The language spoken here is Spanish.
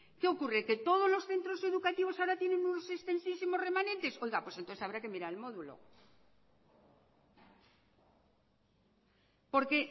qué ocurre que todos los centros educativos ahora tienen unos extensísimos remanentes oiga pues entonces habrá que mirar el módulo porque